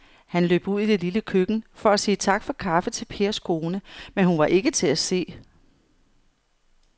Han løb ud i det lille køkken for at sige tak for kaffe til Pers kone, men hun var ikke til at se.